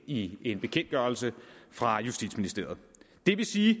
i en bekendtgørelse fra justitsministeriet det vil sige